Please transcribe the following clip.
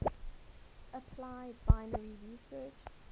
apply binary search